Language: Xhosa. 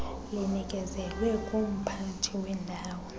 linikezelwe ngumphathi wendawo